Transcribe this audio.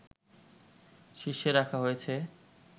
শীর্ষে রাখা হয়েছে